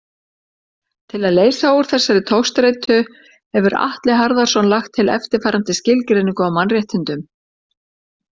Til að leysa úr þessari togstreitu hefur Atli Harðarson lagt til eftirfarandi skilgreiningu á mannréttindum.